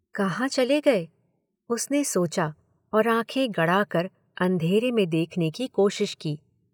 कहाँ चले गए, उसने सोचा और आंखें गड़ाकर अंधेरे में देखने की कोशिश की।